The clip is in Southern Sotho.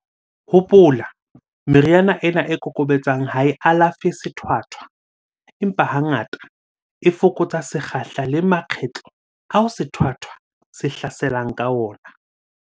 Hopola, meriana ena e kokobetsang ha e alafe sethwathwa, empa hangata, e fokotsa sekgahla le makgetlo ao sethwathwa se hlaselang ka ona.